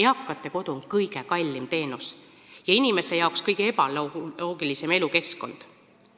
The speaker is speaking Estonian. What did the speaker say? Eakate kodu on kõige kallim teenus ja inimese jaoks kõige ebaloogilisem elukeskkond.